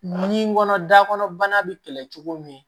Nun kɔnɔ da kɔnɔ bana be kɛlɛ cogo min